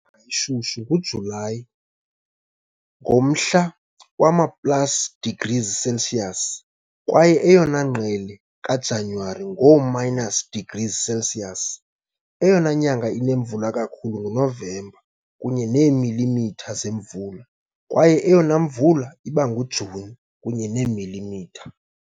shushu nguJulayi, ngomhla wama plus degrees Celsius, kwaye eyona ngqele kaJanuwari, ngoo-minus degrees Celsius. Eyona nyanga inemvula kakhulu nguNovemba, kunye neemilimitha zemvula, kwaye eyona mvula iba nguJuni, kunye neemilimitha .